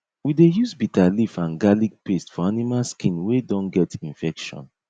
we dey use bitter leaf and garlic paste for animal skin wey don get infection